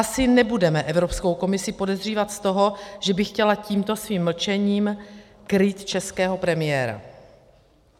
Asi nebudeme Evropskou komisi podezřívat z toho, že by chtěla tímto svým mlčením krýt českého premiéra.